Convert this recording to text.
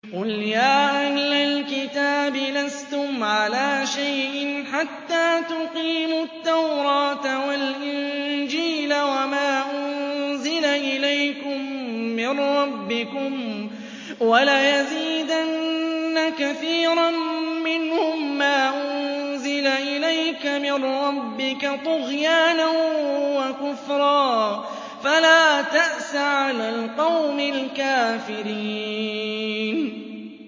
قُلْ يَا أَهْلَ الْكِتَابِ لَسْتُمْ عَلَىٰ شَيْءٍ حَتَّىٰ تُقِيمُوا التَّوْرَاةَ وَالْإِنجِيلَ وَمَا أُنزِلَ إِلَيْكُم مِّن رَّبِّكُمْ ۗ وَلَيَزِيدَنَّ كَثِيرًا مِّنْهُم مَّا أُنزِلَ إِلَيْكَ مِن رَّبِّكَ طُغْيَانًا وَكُفْرًا ۖ فَلَا تَأْسَ عَلَى الْقَوْمِ الْكَافِرِينَ